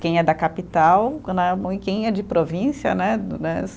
Quem é da capital e quem é de província, né? Né